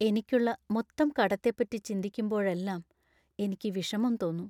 എനിക്കുള്ള മൊത്തം കടത്തെപ്പറ്റി ചിന്തിക്കുമ്പോഴെല്ലാം എനിക്ക് വിഷമം തോന്നും .